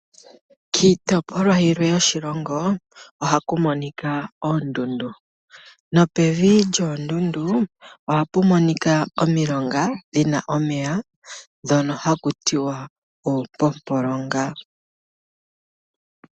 Kiitopolwa yilwe yoshilongo ohaku monika oondundu, nopevi lyoondundu ohapu monika omilonga dhina omeya, dhono haku tiwa oopompolonga.